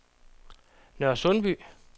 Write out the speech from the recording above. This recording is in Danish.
Nørresundby